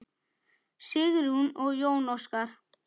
Sigrún og Jón Óskar.